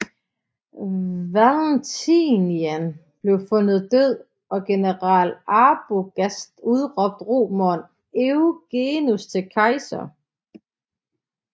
Valentinian blev fundet død og general Arbogast udråbte romeren Eugenius til kejser